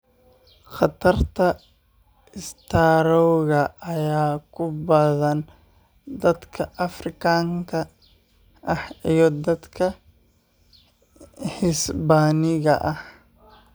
Khatarta istaroogga ayaa ku badan dalka Afrikaanka ah iyo dadka Hisbaaniga ah.